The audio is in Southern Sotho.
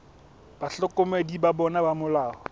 bahlokomedi ba bona ba molao